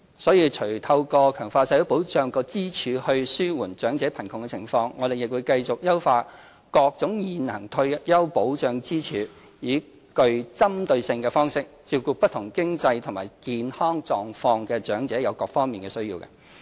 所以除透過強化社會保障支柱以紓緩長者貧窮的情況，我們亦會繼續優化各種現行退休保障支柱，以具針對性的方式照顧不同經濟和健康狀況的長者在各個方面的需要。